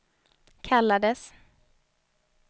kallades